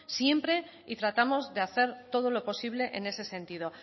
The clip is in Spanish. siempre y tratamos de hacer todo lo posible en ese sentido